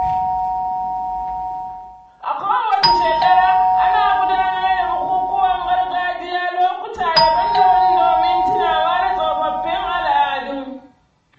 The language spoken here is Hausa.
A kowace shekara, ana gudanar da bukukuwan gargajiya lokuta daban-daban domin tunawa da tsofaffin al'adu.